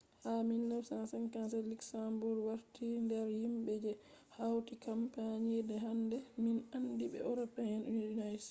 ha 1957 luxembourg warti nder himbe je hauti kampani je hande min andi be european union